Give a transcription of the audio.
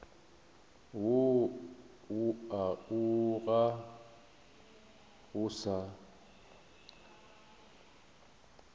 woo o ga o sa